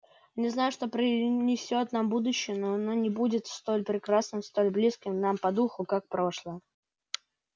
не знаю что принесёт нам будущее но оно не будет столь прекрасным столь близким нам по духу как прошлое